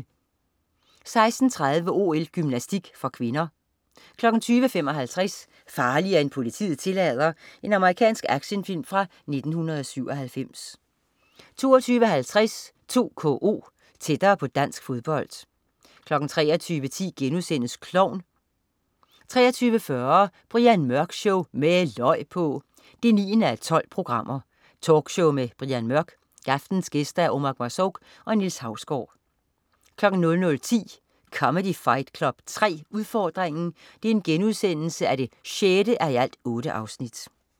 16.30 OL: Gymnastik (k) 20.55 Farligere end politiet tillader. Amerikansk actionfilm fra 1997 22.50 2KO. Tættere på dansk fodbold 23.10 Klovn* 23.40 Brian Mørk Show. Med løg på! 9:12. Talkshow med Brian Mørk. Aftenens gæster: Omar Marzouk og Niels Hausgaard 00.10 Comedy Fight Club 3, udfordringen 6:8*